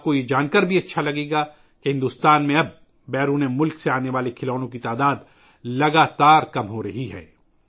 آپ یہ بھی جاننا پسند کریں گے کہ اب بھارت میں بیرون ملک سے آنے والے کھلونوں کی تعداد میں مسلسل کمی آرہی ہے